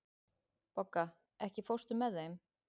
Bogga, ekki fórstu með þeim?